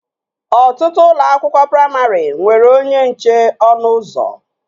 Ọtụtụ ụlọ akwụkwọ praimarị nwere onye nche ọnụ ụzọ